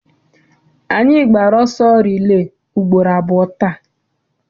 Anyị gbara ọsọ rilee ugboro abụọ taa.